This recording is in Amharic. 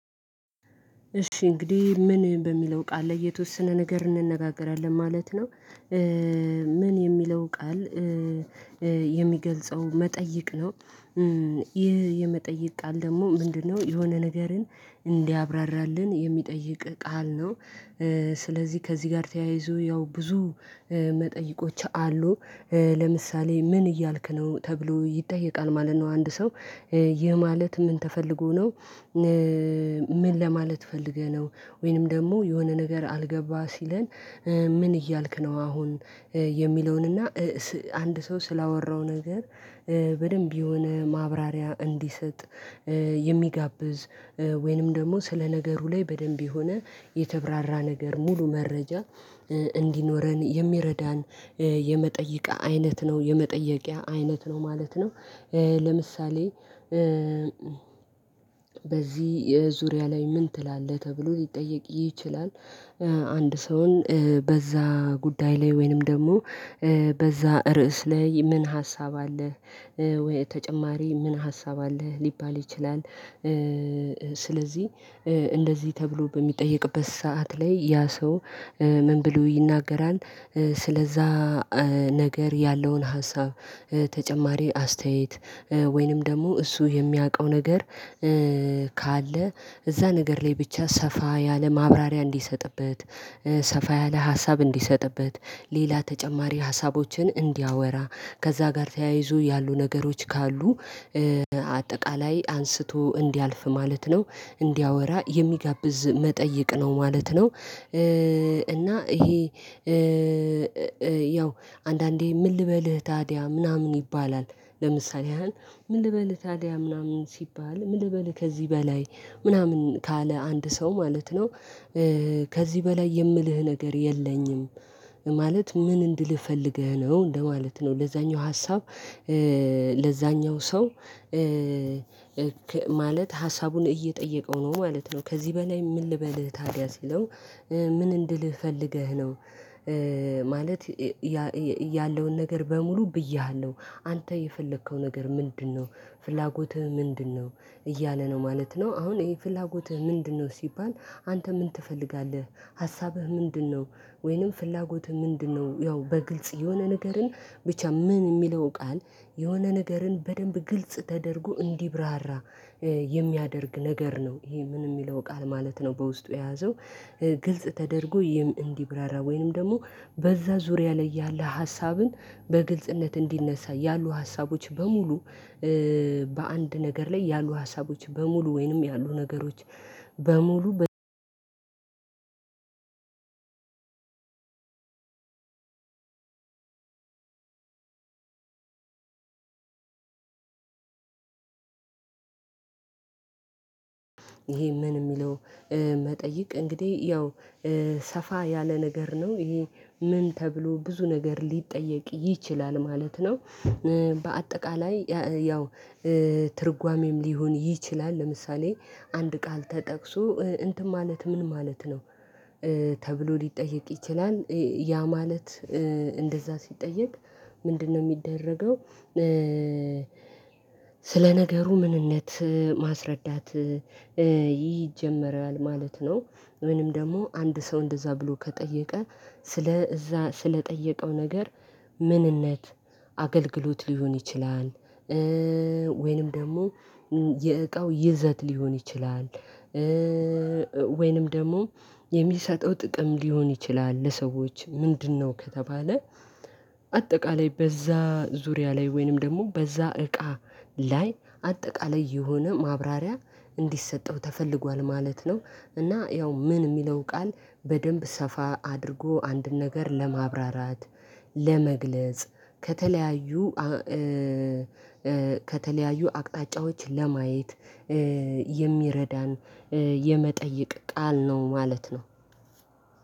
እሺ እንግዲህ ምን በሚለው ቃል የተወሰነ ነገር እንነጋገራለን ማለት ነው። ምን የሚለው ቃል የሚገልጸው መጠየቅ ነው። ይህ የመጠየቅ ቃል ደግሞ ምንድነው የሆነ ነገርን እንዲያብራራልን የሚጠይቅ ቃል ነው። ስለዚህ ከዚህ ጋር ተያይዞ ያው ብዙ መጠይቆች አሉ። ለምሳሌ ምን እያልክ ነው? ተብሎ ይጠየቃል ማለት ነው አንድ ሰው ይህ ማለት ምን ተፈልጎ ነው ምን ለማለት ፈልገህ ነው ወይንም ደግሞ የሆነ ነገር አልገባ ሲለን ምን እያልክ ነው አሁን የሚለውን እና አንድ ሰው ስላወራው ነገር በደንብ የሆነ ማብራሪያ እንዲሰጥ የሚጋብዝ ወይንም ደግሞ ስለ ነገሩ ላይ በደንብ የሆነ የተብራራ ነገር ሙሉ መረጃ እንዲኖረን የሚረዳን የመጠየቂያ አይነት ነው ማለት ነው ለምሳሌ በዚህ ዙሪያ ላይ ምን ትላለህ ተብሎ ሊጠየቅ ይችላል። አንድ ሰውን በዛ ጉዳይ ላይ ወይንም ደግሞ በዛ ርዕስ ላይ ምን ሀሳብ አለህ ወይ ተጨማሪ ምን ሀሳብ አለህ ሊባል ይችላል ስለዚህ እንደዚህ ተብሎ በሚጠየቅበት ሰዓት ላይ ያ ሰው ምን ብሎ ይናገራል ስለዛ ነገር ያለውን ሀሳብ ተጨማሪ አስተያየት ወይንም ደግሞ እሱ የሚያውቀው ነገር ካለ እዛ ነገር ላይ ብቻ ሰፋ ያለ ማብራሪያ እንዲሰጥበት ሰፋ ያለ ሀሳብ እንዲሰጥበት ሌላ ተጨማሪ ሀሳቦችን እንዲያወራ ከዛ ጋር ተያይዞ ያሉ ነገሮች ካሉ አጠቃላይ አንስቶ እንዲያልፍ ማለት ነው እንዲያወራ የሚጋብዝ መጠይቅ ነው ማለት ነው እና ይሄ ያው አንዳንዴ ምን ልበልህ ታዲያ ምናምን ይባላል ለምሳሌ ያህል ምን ልበልህ ታዲያ ምናምን ሲባል ምን ልበልህ ከዚህ በላይ ምናምን ካለ አንድ ሰው ማለት ነው ከዚህ በላይ የምልህ ነገር የለኝም ማለት ምን እንድልህ ፈልገህ ነው እንደማለት ነው ለዛኛው ሀሳብ ለዛኛው ሰው ማለት ሀሳቡን እየጠየቀው ነው ማለት ነው ከዚህ በላይ ምን ልበልህ ታዲያ ሲለው ምን እንድልህ ፈልገህ ነው ማለት ያለውን ነገር በሙሉ ብዬሃለሁ አንተ የፈለከው ነገር ምንድነው ፍላጎትህ ምንድነው እያለ ነው ማለት ነው አሁን ይሄ ፍላጎትህ ምንድነው ሲባል አንተ ምን ትፈልጋለህ ሀሳብህ ምንድነው ወይንም ፍላጎትህ ምንድነው ያው በግልጽ የሆነ ነገርን ብቻ ምን የሚለውን ቃል የሆነ ነገርን በደንብ ግልጽ ተደርጎ እንዲብራራ የሚያደርግ ነገር ነው ይሄ ምን የሚለው ቃል ማለት ነው በውስጡ የያዘው ግልጽ ተደርጎ እንዲብራራ ወይንም ደግሞ በዛ ዙሪያ ላይ ያለ ሀሳብን በግልጽነት እንዲነሳ ያሉ ሀሳቦች በሙሉ በአንድ ነገር ላይ ያሉ ሀሳቦች በሙሉ ወይንም ያሉ ነገሮች በሙሉ ይሄ ምን የሚለው መጠይቅ እንግዲህ ያው ሰፋ ያለ ነገር ነው ይሄ ምን ተብሎ ብዙ ነገር ሊጠየቅ ይችላል ማለት ነው በአጠቃላይ ያው ትርጓሜም ሊሆን ይችላል ለምሳሌ አንድ ቃል ተጠቅሶ እንትን ማለት ምን ማለት ነው ተብሎ ሊጠየቅ ይችላል ያ ማለት እንደዛ ሲጠየቅ ምንድነው የሚደረገው ስለ ነገሩ ምንነት ማስረዳት ይጀመራል ማለት ነው ምንም ደግሞ አንድ ሰው እንደዛ ብሎ ከጠየቀ ስለ እዛ ስለጠየቀው ነገር ምንነት አገልግሎት ሊሆን ይችላል ወይንም ደግሞ የእቃው ይዘት ሊሆን ይችላል ወይንም ደግሞ የሚሰጠው ጥቅም ሊሆን ይችላል ለሰዎች ምንድነው ከተባለ አጠቃላይ በዛ ዙሪያ ላይ ወይንም ደግሞ በዛ እቃ ላይ አጠቃላይ የሆነ ማብራሪያ እንዲሰጠው ተፈልጓል ማለት ነው እና ያው ምን የሚለውን ቃል በደንብ ሰፋ አድርጎ አንድን ነገር ለማብራራት ለመግለጽ ከተለያዩ ከተለያዩ አቅጣጫዎች ለማየት የሚረዳን የመጠይቅ ቃል ነው ማለት ነው